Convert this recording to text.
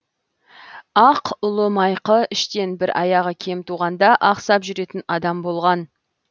ақ ұлы майқы іштен бір аяғы кем туғанда ақсап жүретін адам болған